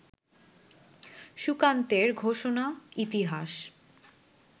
সুকান্তের ঘোষণা, ইতিহাস